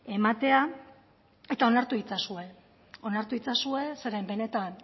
ematea eta onartu itzazue onartu itzazue zeren benetan